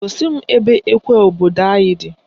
Gosi m ebe ekwe obodo anyị di